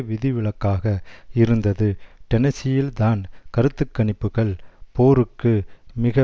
விதிவிலக்காக இருந்தது டென்னெசியில்தான் கருத்து கணிப்புக்கள் போருக்கு மிக